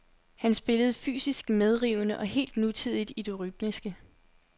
Han spillede fysisk medrivende og helt nutidigt i det rytmiske.